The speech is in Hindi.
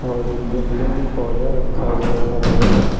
और एक गमले में पौधा रखा हुआ है हरा भरा।